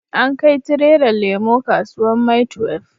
An kai tirelan lemo kasuwan maitwef